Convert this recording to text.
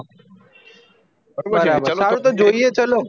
સારું તો જોઈએ ચલો